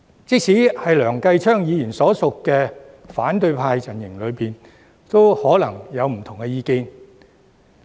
即使在梁繼昌議員所屬的反對派陣營中，也可能有不同的意見。